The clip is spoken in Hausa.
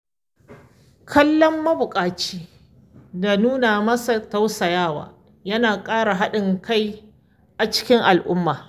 Kallon mabuƙaci da nuna masa tausayawa yana ƙara haɗin kai a cikin al’umma.